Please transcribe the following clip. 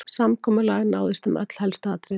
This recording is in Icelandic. Samkomulag náðist um öll helstu atriði